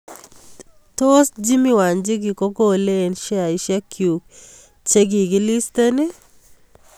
Tos' JimmyWanjigi kogolee eng' sheaisiekyuk chekigiliisteen